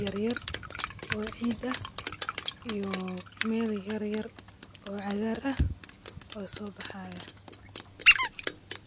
yaryar oo cida iyo mel yaryar oo cagaar ah oo soobaxaya.